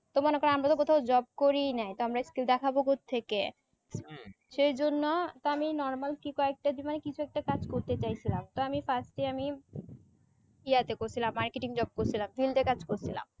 তো মনে করো আমরা কোথাও job করি নাই তাহলে আমরা skill দেখাবো কোতথেকে সেই জন্য আমি normal কি কয়েকটা কিছু একটা কাজ করতে চাইছিলাম তো আমি first এ আমি ইয়া তে করছিলাম marketing job করসিলাম field এ কাজ করছিলাম